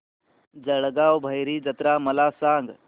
जळगाव भैरी जत्रा मला सांग